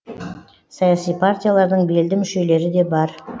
саяси партиялардың белді мүшелері де бар